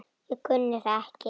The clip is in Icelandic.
Ég kunni það ekki.